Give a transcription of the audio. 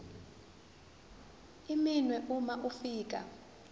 iminwe uma ufika